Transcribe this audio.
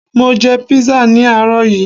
Mo jẹ písà ní àárọ̀ yií